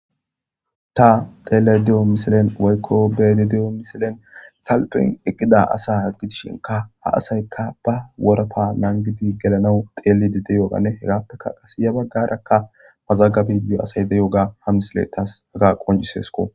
ta xelayido diyo misilen waykko bedi diyo misilen salpen eqqida asa haggi dishinka ha asayka ba worappa naangidi gelanau xeelidi deyogane hegappeka qasiya baggarakka mazagabidi asay de yoga ha misile taas aga qonjisesko